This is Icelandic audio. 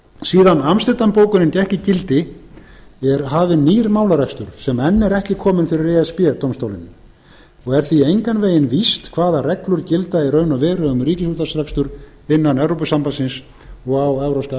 síðan amsterdam bókunin gekk í gildi er hafinn nýr málarekstur sem enn er ekki kominn fyrir e s b dómstólinn og er því engan veginn víst hvaða reglur gilda í raun og veru um ríkisútvarpsrekstur innan evrópusambandsins og á evrópska